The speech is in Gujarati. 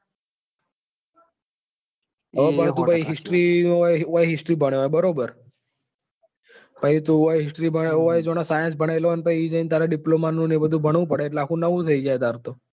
હવે history અહી history ભણ્યો હોય બરોબર અહી જાણે તું science ભણેલો હોય ને ત્યાં પછી ત્યાં જી ને diploma નું ને બધું ભણવું પડે તો આખું નવું થઇ જાય તારે તો.